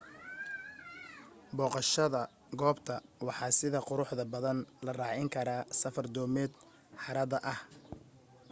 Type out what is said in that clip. booqashada goobta waxa sida quruxda badan la raacin karaa safar doomeed harada ah